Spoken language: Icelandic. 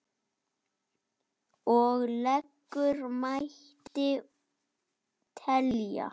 Og lengur mætti telja.